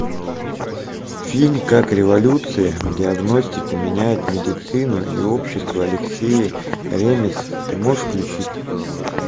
фильм как революция в диагностике меняет медицину и общество алексей ремез ты можешь включить